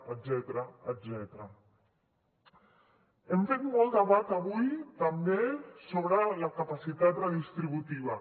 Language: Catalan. hem fet molt debat avui també sobre la capacitat redistributiva